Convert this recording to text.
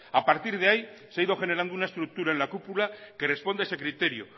a partir de ahí se ha ido generando una estructura en la cúpula que responde a ese criterio